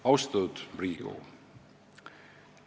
Austatud Riigikogu!